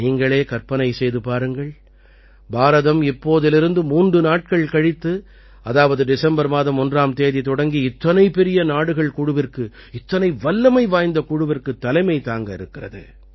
நீங்களே கற்பனை செய்து பாருங்கள் பாரதம் இப்போதிலிருந்து 3 நாட்கள் கழித்து அதாவது டிசம்பர் மாதம் 1ஆம் தேதி தொடங்கி இத்தனை பெரிய நாடுகள் குழுவிற்கு இத்தனை வல்லமை வாய்ந்த குழுவிற்குத் தலைமை தாங்க இருக்கிறது